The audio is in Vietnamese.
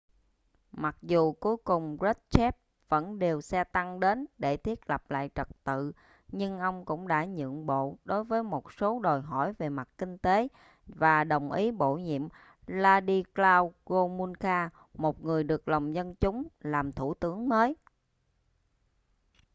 mặc dù cuối cùng krushchev vẫn điều xe tăng đến để thiết lập lại trật tự nhưng ông cũng đã nhượng bộ đối với một số đòi hỏi về mặt kinh tế và đồng ý bổ nhiệm wladyslaw gomulka một người được lòng dân chúng làm thủ tướng mới